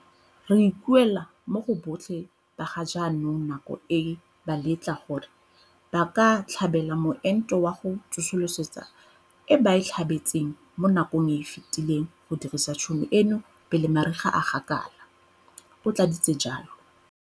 "Re ikuela mo go botlhe ba ga jaanong nako e ba letlang gore ba ka tlhabela moento wa go tsosolosa e ba e tlhabetseng mo nakong e e fetileng go dirisa tšhono eno pele mariga a gakala," o tlaleleditse jalo.